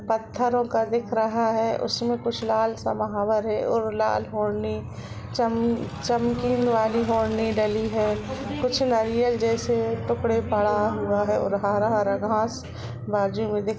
पथरो का दिख रहा है उसमें कुछ लाल समाहवर है और लाल ओढ़नी चम चमकी वाली ओढ़नी डली है कुछ नारियल जैसे टुकड़े पड़ा हुआ है और हरा हरा घास बाजु में दिख --